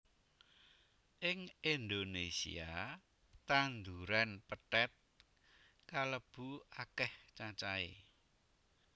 Ing Indonésia tanduran pethèt kalebu akéh cacahé